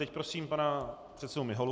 Teď prosím pana předsedu Miholu.